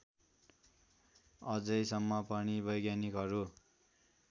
अझैसम्म पनि वैज्ञानिकहरू